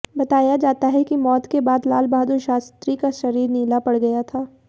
बताया जाता है कि मौत के बाद लालबहादुर शास्त्री का शरीर नीला पड़ गया था